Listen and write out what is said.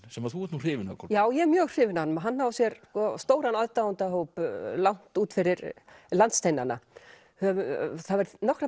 sem þú ert nú hrifin af Kolbrún já ég er mjög hrifin af honum hann á sér stóran aðdáendahóp langt út fyrir landsteinana það hafa nokkrar